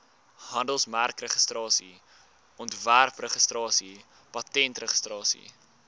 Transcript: handelsmerkregistrasie ontwerpregistrasie patentregistrasie